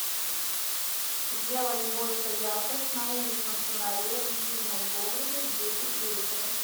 сделать больше яркость на уличном фонаре в винном погребе в десять вечера